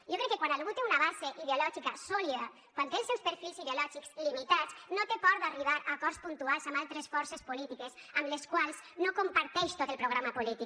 jo crec que quan algú té una base ideològica sòlida quan té els seus perfils ideològics limitats no té por d’arribar a acords puntuals amb altres forces polítiques amb les quals no comparteix tot el programa polític